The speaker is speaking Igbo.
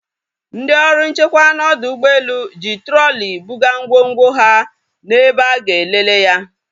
Ndị ọrụ nchekwa na ọdọ ụgbọelu ji trọli buga ngwongwo ha na ebe a ga-elele ya